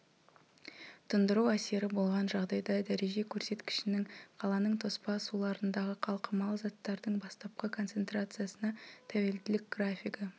тұндыру әсері болған жағдайда дәреже көрсеткішінің қаланың тоспа суларындағы қалқымалы заттардың бастапқы концентрациясына тәуелділік графигі